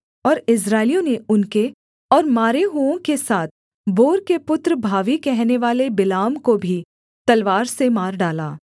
और इस्राएलियों ने उनके और मारे हुओं के साथ बोर के पुत्र भावी कहनेवाले बिलाम को भी तलवार से मार डाला